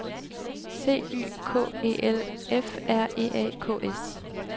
C Y K E L F R E A K S